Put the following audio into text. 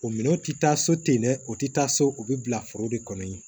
O minɛnw ti taa so ten dɛ o ti taa so o bi bila foro de kɔnɔ yen